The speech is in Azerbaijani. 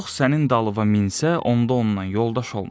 Yox sənin dalına minsə, onda ondan yoldaş olma.